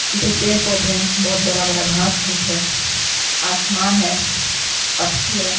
पीछे पेड़ पौधे हैं। बहोत बरा -बरा घाँस -खुस है। आसमान है पक्क्षी है।